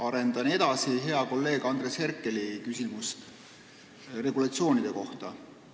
Arendan edasi hea kolleegi Andres Herkeli küsimust regulatsioonide kohta.